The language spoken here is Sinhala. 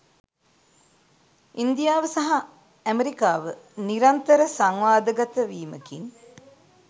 ඉන්දියාව සහ ඇමරිකාව නිරන්තර සංවාදගත වීමකින්